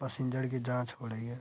Passenger की जाँच हो ड़ही है।